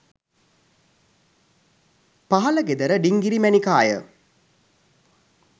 පහළ ගෙදර ඩිංගිරි මැණිකාය.